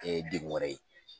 degun wɛrɛ ye